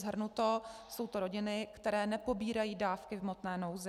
Shrnuto, jsou to rodiny, které nepobírají dávky v hmotné nouzi.